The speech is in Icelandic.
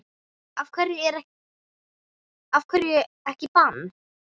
Af hverju ekki bann?